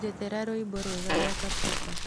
njethera rwĩmbo rwega rwa kapuka